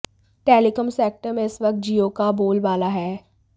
telecom sector में इस वक़्त जियो का बोलबाला है